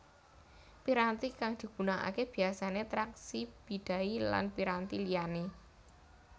Piranti kang digunakake biyasane traksi bidai lan piranti liyane